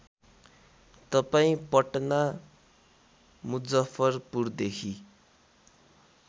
तपाईँ पटना मुजफ्फरपुरदेखि